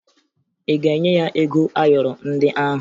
Ị ga-enye ya ego ayọrọ ndị ahụ?